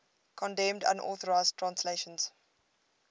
condemned unauthorized translations